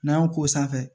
N'an y'o k'o sanfɛ